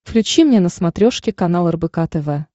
включи мне на смотрешке канал рбк тв